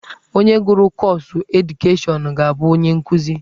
Onye gụrụ kọọsụ edukeshọnụ ga-abụ onye nkuzi.